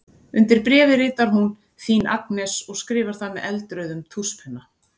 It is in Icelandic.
Undir bréfið ritar hún: Þín Agnes og skrifar það með eldrauðum tússpenna.